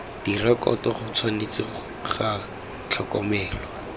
direkoto go tshwanetse ga tlhokomelwa